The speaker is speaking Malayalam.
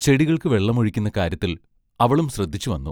ചെടികൾക്കു വെള്ളം ഒഴിക്കുന്ന കാര്യത്തിൽ അവളും ശ്രദ്ധിച്ചു വന്നു.